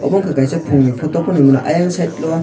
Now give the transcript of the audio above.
obo ungkha kaisa phungni photo phano hinwi mano ayang side lo.